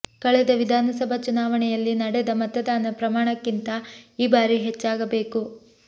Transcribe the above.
ಕಳೆದ ವಿಧಾನಸಭಾ ಚುನಾವಣೆಯಲ್ಲಿ ನಡೆದ ಮತದಾನ ಪ್ರಮಾಣಕ್ಕಿಂತ ಈ ಬಾರಿ ಹೆಚ್ಚಾಗಬೇಕು